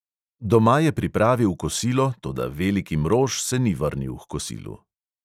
Doma je pripravil kosilo, toda veliki mrož se ni vrnil h kosilu.